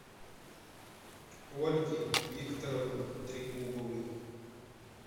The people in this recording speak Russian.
ольги викторовны трегубовой